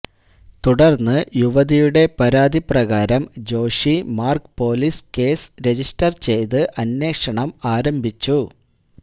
തുടര്ന്ന് യുവതിയുടെ പരാതി പ്രകാരം Joshi Marg police case register ചെയ്ത് അന്വേഷണം ആരംഭിച്ചു